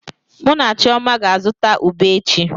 Mụ na Chioma ga-azụta ube echi.